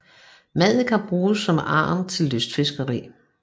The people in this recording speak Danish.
Maddiker bruges som agn til lystfiskeri